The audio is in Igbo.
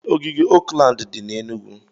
Ee, ogige Oakland dị na Enugwu.